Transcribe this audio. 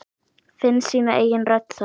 Finna sína eigin rödd þar.